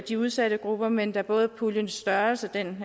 de udsatte grupper men da både puljens størrelse